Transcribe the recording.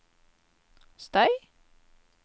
støy